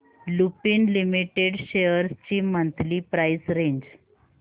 Lupin limited shares ची monthly price range